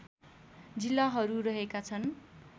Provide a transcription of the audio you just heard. जिल्लाहरू रहेका छन्